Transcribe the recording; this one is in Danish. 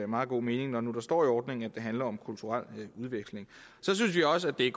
meget god mening når nu der står i ordningen at det handler om kulturel udveksling så synes vi også at det